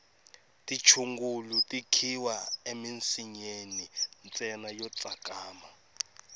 tichungulu ti khiwa emisinyeni ntsena yo tsakama